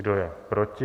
Kdo je proti?